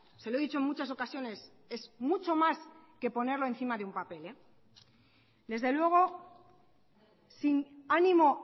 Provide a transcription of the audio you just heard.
se lo he dicho en muchas ocasiones es mucho más que ponerlo encima de un papel desde luego sin ánimo